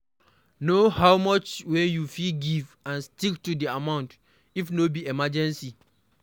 Know how much wey you fit give and stick to di amount if no be emergency